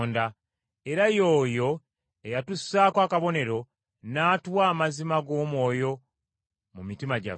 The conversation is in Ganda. era ye oyo eyatussaako akabonero, n’atuwa amazima g’omwoyo mu mitima gyaffe.